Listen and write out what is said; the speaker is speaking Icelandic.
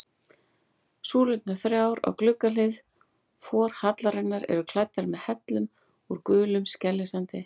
Súlurnar þrjár á gluggahlið forhallarinnar eru klæddar með hellum úr gulum skeljasandi.